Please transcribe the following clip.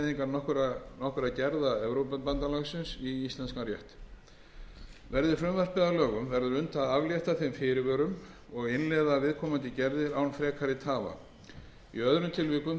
nokkurra gerða evrópubandalagsins í íslenskan rétt verði frumvarpið að lögum verður unnt að aflétta þeim fyrirvörum og innleiða viðkomandi gerðir án frekari tafa í öðrum tilvikum